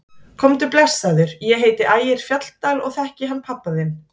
Komdu blessaður, ég heiti Ægir Fjalldal og ég þekki hann pabba þinn!